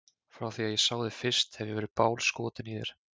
Frá því að ég sá þig fyrst hef ég verið bálskotinn í þér.